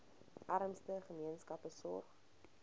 armste gemeenskappe sorg